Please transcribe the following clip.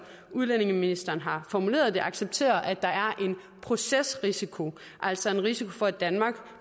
udlændingeministeren har formuleret det accepterer at der er en procesrisiko altså en risiko for at danmark